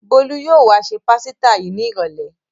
Bólú yóò wá se pásítà yìí ní ìrọ́lẹ́ ọ̀la.